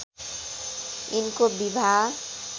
यिनको विवाह